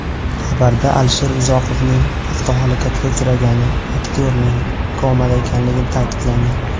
Xabarda Alisher Uzoqovning avtohalokatga uchragani, aktyorning komada ekanligi ta’kidlangan.